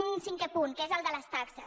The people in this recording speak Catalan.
un cinquè punt que és el de les taxes